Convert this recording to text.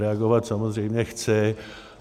Reagovat samozřejmě chci.